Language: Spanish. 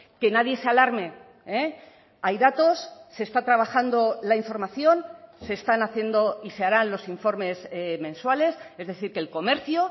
que nadie se alarme hay datos se está trabajando la información se están haciendo y se harán los informes mensuales es decir que el comercio